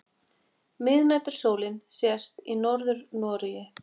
Miðnætursólin sést í Norður-Noregi.